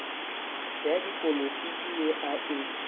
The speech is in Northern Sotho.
ya dipolitiki ye a e